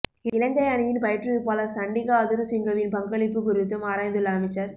இலங்கை அணியின் பயிற்றுவிப்பாளர் சண்டிக ஹதுருசிங்கவின் பங்களிப்பு குறித்தும் ஆராய்ந்துள்ள அமைச்சர்